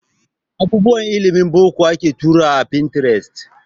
Abubuwan ilimin boko ake turawa a Pinterest